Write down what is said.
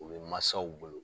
o be masaw bolo